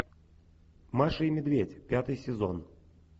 маша и медведь пятый сезон